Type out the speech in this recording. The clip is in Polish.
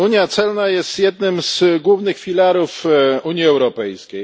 Unia celna jest jednym z głównych filarów Unii Europejskiej.